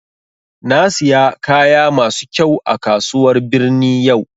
Na siya kaya masu kyau a kasuwar birni yau